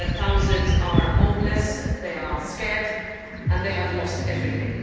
thousands are homeless, they are scared and they have lost everything.